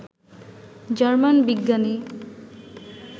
German বিজ্ঞানী